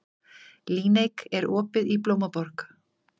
Líneik, er opið í Blómaborg?